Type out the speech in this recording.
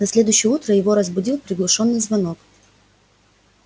на следующее утро его разбудил приглушённый звонок